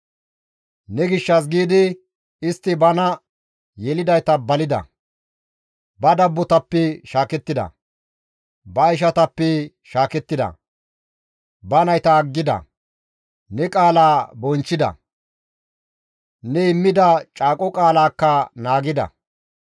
Ne gishshas giidi istti bana yelidayta balida; ba dabbotappe shaakettida; ba ishatappe shaakettida; ba nayta aggida; ne qaalaa bonchchida; ne immida caaqo qaalaakka naagida.